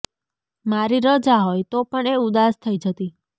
મારી રજા હોય તો પણ એ ઉદાસ થઈ જતી